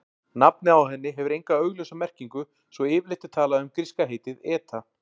Nafnið á henni hefur enga augljósa merkingu svo yfirleitt er talað um gríska heitið eta.